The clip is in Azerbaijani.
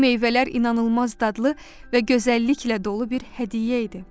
Bu meyvələr inanılmaz dadlı və gözəlliklə dolu bir hədiyyə idi.